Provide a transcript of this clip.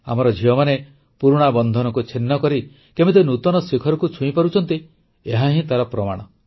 ଆମର ଝିଅମାନେ ପୁରୁଣା ବନ୍ଧନକୁ ଛିନ୍ନକରି କେମିତି ନୂତନ ଶିଖରକୁ ଛୁଇଁପାରୁଛନ୍ତି ଏହାହିଁ ତାର ପ୍ରମାଣ